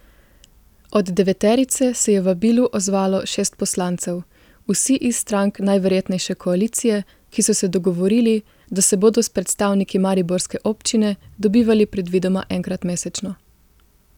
Od deveterice se je vabilu odzvalo šest poslancev, vsi iz strank najverjetnejše koalicije, ki so se dogovorili, da se bodo s predstavniki mariborske občine dobivali predvidoma enkrat mesečno.